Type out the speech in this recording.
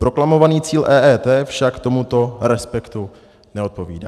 Proklamovaný cíl EET však tomuto respektu neodpovídá.